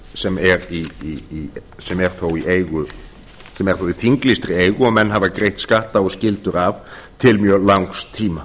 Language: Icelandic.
sem er þó í þinglýstri eigu og menn hafa greitt skatta og skyldur af til mjög langs tíma